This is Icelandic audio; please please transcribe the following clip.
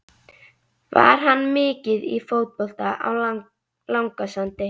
Var hann mikið í fótbolta á Langasandi?